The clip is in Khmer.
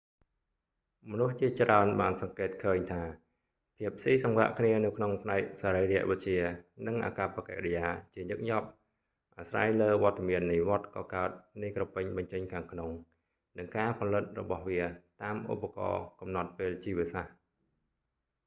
មនុស្សជាច្រើនបានសង្កេតឃើញថាភាពស៊ីសង្វាក់គ្នានៅក្នុងផ្នែកសរីរវិទ្យា និងអាកប្បកិរិយាជាញឹកញាប់អាស្រ័យលើវត្តមាននៃវដ្តកកើតនៃក្រពេញបញ្ចេញខាងក្នុង និងការផលិតរបស់វាតាមឧបករណ៍កំណត់ពេលជីវសាស្រ្ត